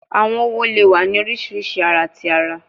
Awọn õwo le wa ni oriṣiriṣi ara ti ara